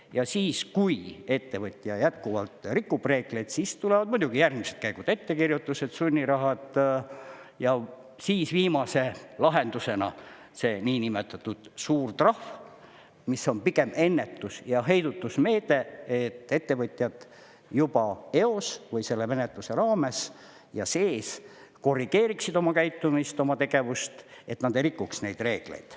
Ja siis, kui ettevõtja jätkuvalt rikub reegleid, siis tulevad järgmised käigud: ettekirjutused, sunnirahad ja siis viimase lahendusena see niinimetatud suur trahv, mis on pigem ennetus- ja heidutusmeede, et ettevõtjad juba eos või selle menetluse raames ja sees korrigeeriksid oma käitumist, oma tegevust, et nad ei rikuks neid reegleid.